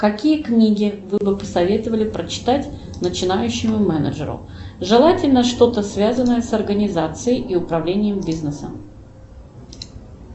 какие книги вы бы посоветовали прочитать начинающему менеджеру желательно что то связанное с организацией и управлением бизнесом